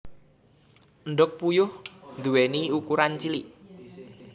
Endhog puyuh nduwèni ukuran cilik